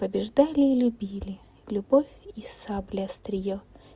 побеждали или били любовь и сабля острие